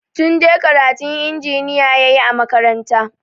Tunde karatun injiniya ya yi a makaranta.